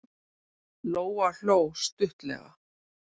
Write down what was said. Lóa hló stuttlega.